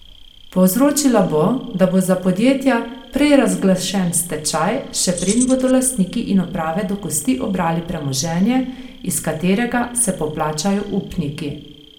Povzročila bo, da bo za podjetja prej razglašen stečaj, še preden bodo lastniki in uprave do kosti obrali premoženje, iz katerega se poplačajo upniki.